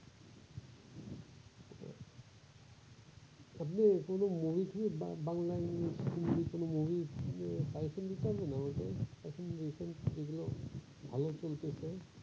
আপনে কোনো movie টুভি বাংলা ইংরেজি, হিন্দি কোনো movie পাইছেন কি না যেগুলা ভালো চলতেছে ।